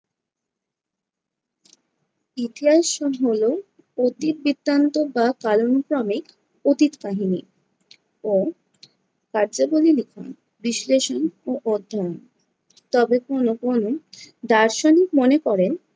ইতিহাস হলো অতীত বৃত্তান্ত বা কালানুক্রমিক অতীত কাহিনী ও কার্যাবলী লিখন, বিশ্লেষণ ও অধ্যয়ন, তবে কোনো কোনো দার্শনিক মনে করেন